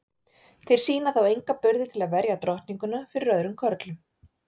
Þeir sýna þó enga burði til að verja drottninguna fyrir öðrum körlum.